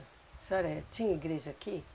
A senhora tinha igreja aqui?